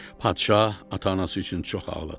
Padşah ata-anası üçün çox ağladı.